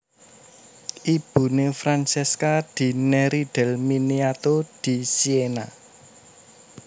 Ibuné Francesca di Neri del Miniato di Siena